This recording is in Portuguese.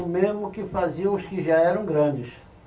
O mesmo que faziam os que já eram grandes.